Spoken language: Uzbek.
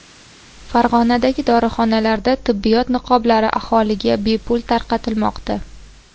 Farg‘onadagi dorixonalarda tibbiyot niqoblari aholiga bepul tarqatilmoqda.